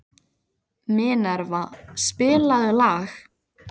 Minerva, spilaðu lag.